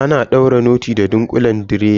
Ana daure noti da ɗunkulen direba.